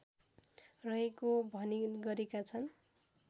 रहेको भनी गरेका छन्